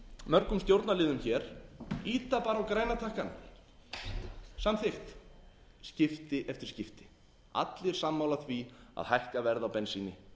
mörgum stjórnarliðum hér ýta bara á græna takkann samþykkt skipti eftir skipti allir sammála því að hækka verð á bensíni